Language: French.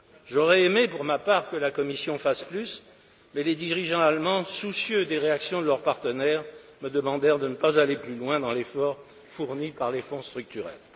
J'aurais aimé, pour ma part, que la Commission fasse plus, mais les dirigeants allemands, soucieux des réactions de leurs partenaires, me demandèrent de ne pas aller plus loin dans l'effort fourni par les fonds structurels.